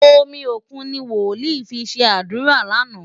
Omi òkun ni wòlíì fi ṣe àdúrà lánàá.